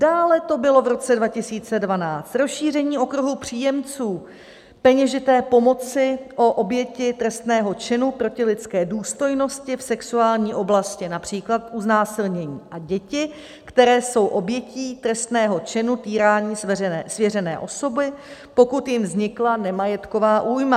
Dále to bylo v roce 2012: Rozšíření okruhu příjemců peněžité pomoci o oběti trestného činu proti lidské důstojnosti v sexuální oblasti, například u znásilnění, a děti, které jsou obětí trestného činu týrání svěřené osoby, pokud jim vznikla nemajetková újma.